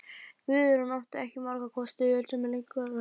Guðrún átti ekki margra kosta völ sem leikkona á Íslandi.